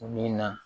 Min na